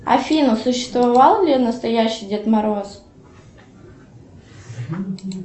афина существовал ли настоящий дед мороз